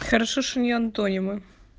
хорошо что не антонимы